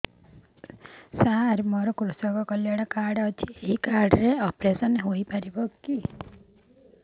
ସାର ମୋର କୃଷକ କଲ୍ୟାଣ କାର୍ଡ ଅଛି ଏହି କାର୍ଡ ରେ ଅପେରସନ ହେଇପାରିବ